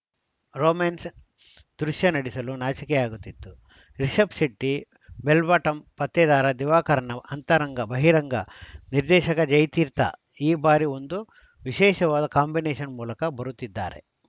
romance ದೃಶ್ಯ ನಡಿ ಸಲು ನಾಚಿಕೆಯಾಗುತ್ತಿತ್ತು ರಿಷಬ್‌ ಶೆಟ್ಟಿ ಬೆಲ್‌ ಬಾಟಂ ಪತ್ತೇದಾರ ದಿವಾಕರನ ಅಂತರಂಗ ಬಹಿರಂಗ ನಿರ್ದೇಶಕ ಜಯತೀರ್ಥ ಈ ಬಾರಿ ಒಂದು ವಿಶೇಷವಾದ ಕಾಂಬಿನೇಷನ್‌ ಮೂಲಕ ಬರುತ್ತಿದ್ದಾರೆ